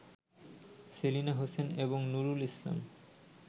সেলিনা হোসেন এবং নূরুল ইসলাম